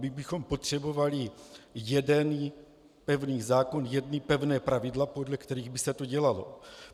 My bychom potřebovali jeden pevný zákon, jedna pevná pravidla, podle kterých by se to dělalo.